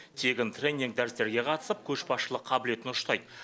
тегін тренинг дәрістерге қатысып көшбасшылық қабілетін ұштайды